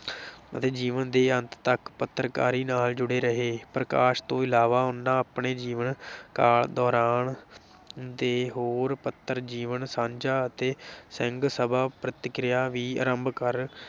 ਅਤੇ ਜੀਵਨ ਦੇ ਅੰਤ ਤਕ ਪੱਤਰਕਾਰੀ ਨਾਲ ਜੁੜੇ ਰਹੇ, ਪ੍ਰਕਾਸ਼ ਤੋਂ ਇਲਾਵਾ ਉਨ੍ਹਾਂ ਆਪਣੇ ਜੀਵਨ ਕਾਲ ਦੌਰਾਨ ਦੇ ਹੋਰ ਪੱਤਰ ਜੀਵਨ ਸਾਂਝਾਂ ਅਤੇ ਸਿੰਘ ਸਭਾ ਪ੍ਰਤਕਿਰਿਆ ਵੀ ਆਰੰਭ ਕਰ